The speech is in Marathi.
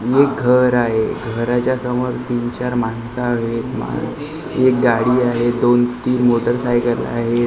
एक घर आहे घराच्या समोर तीन चार माणसं आहेत मान एक गाडी आहे दोन तीन मोटरसायकल आहेत .